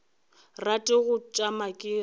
rate go tšama ke re